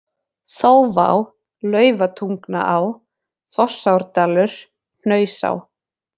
Þófá, Laufatungnaá, Fossárdalur, Hnausá